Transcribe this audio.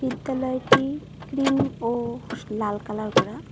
বিদ্যালয়টি ক্রিম ও লাল কালার করা।